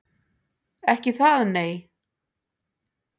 Ekki það nei.